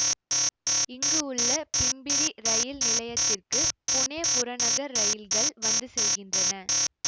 இங்கு உள்ள பிம்பிரி ரயில் நிலையத்திற்கு புனே புறநகர் ரயில்கள் வந்து செல்கின்றன